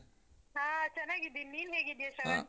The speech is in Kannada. ಹಾ ಚನ್ನಾಗಿದ್ದೀನಿ. ನೀನ್ ಹೇಗಿದ್ಯಾ ಶ್ರವಣ್?